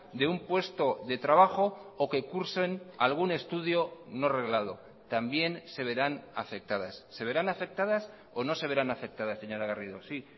de un puesto de trabajo o que cursen algún estudio no reglado también se verán afectadas se verán afectadas o no se verán afectadas señora garrido sí